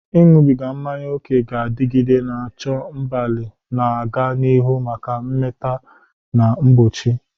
Ịṅụbiga mmanya ókè ga-adịgide, na-achọ mgbalị na-aga n'ihu maka mmata na mgbochi.